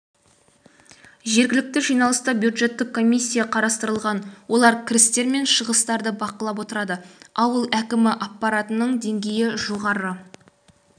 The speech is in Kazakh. жергілікті жиналыста бюджеттік комисия қарастырылған олар кірістер мен шығыстарды бақылап отырады ауыл әкімі аппаратының деңгейі жоғары